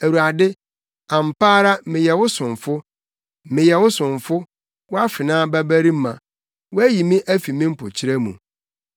Awurade, ampa ara meyɛ wo somfo; meyɛ wo somfo, wʼafenaa babarima; woayi me afi me mpokyerɛ mu.